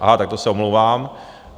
Aha, tak to se omlouvám.